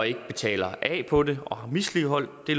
ikke betaler af på det og har misligholdt det